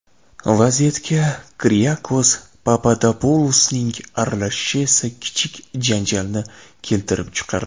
Vaziyatga Kriyakos Papadopulosning aralashishi esa kichik janjalni keltirib chiqardi.